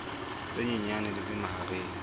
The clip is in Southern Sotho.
tse nyenyane le tse mahareng